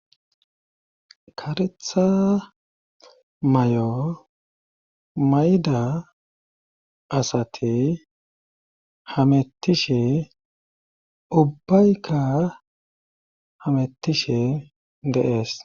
Karetha may'o mayda asati hamettishe ubbaykka hamettishe deees.